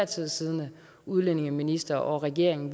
tid siddende udlændingeminister og regering